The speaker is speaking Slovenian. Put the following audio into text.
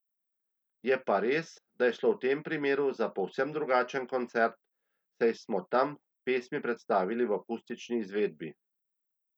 Je pa res, da je šlo v tem primeru za povsem drugačen koncert, saj smo tam pesmi predstavili v akustični izvedbi.